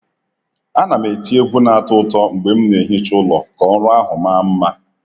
A na m eti egwu na-atọ ụtọ mgbe m na-ehicha ụlọ ka ọrụ ahụ maa mma.